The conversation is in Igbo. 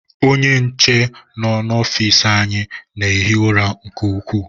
Ónyé nche nọ n'ofici anyị na-ehi ụra nke ukwuu.